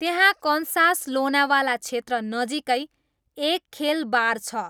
त्यहाँ कन्सास लोनावाला क्षेत्र नजिकै एक खेल बार छ